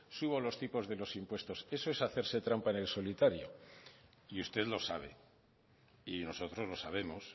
subo los tipos de los impuestos eso es hacerse trampa en el solitario y usted lo sabe y nosotros lo sabemos